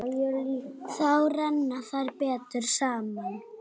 Þá renna þær betur saman.